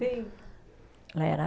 Sim. Era